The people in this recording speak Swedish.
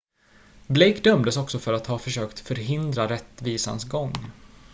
blake dömdes också för att ha försökt förhindra rättvisans gång